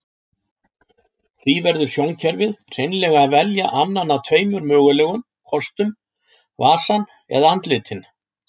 Því verður sjónkerfið hreinlega að velja annan af tveimur mögulegum kostum, vasann eða andlitin.